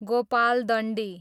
Gopaldandi